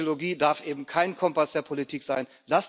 Ideologie darf eben kein Kompass der Politik sein.